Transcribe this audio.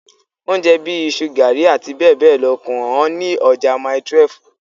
Oúnjẹ bíi iṣu, garri, abbl kò hán ní ọjà mile 12.